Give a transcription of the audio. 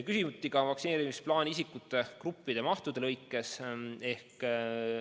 Küsiti ka vaktsineerimisplaani isikute gruppide ja mahtude lõikes.